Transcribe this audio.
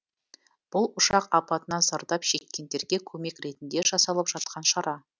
бұл ұшақ апатынан зардап шеккендерге көмек ретінде жасалып жатқан шара